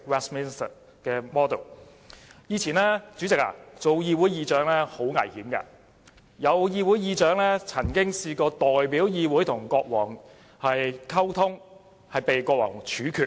主席，以前出任議會議長是很危險的事，曾有議會議長代表議會與國王溝通，結果被國王處決。